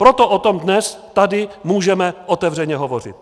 Proto o tom dnes tady můžeme otevřeně hovořit.